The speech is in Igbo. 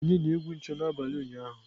Onye na onye na-egwu ncho n'abalị ụnyaahụ?